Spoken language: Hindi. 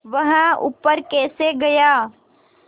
वह ऊपर कैसे गया